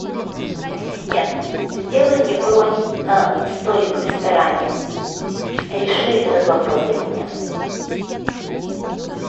ассистент сделай мне бронь на столик в ресторане реши этот вопрос для меня